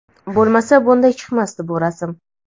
bo‘lmasa bunday chiqmasdi bu rasm'.